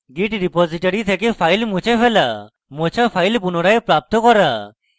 git repository থেকে file মুছে ফেলা মোছা file পুনরায় প্রাপ্ত করা